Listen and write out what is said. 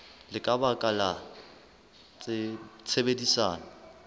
le ka baka la tshebedisano